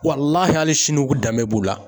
hali sini u danbe b'u la.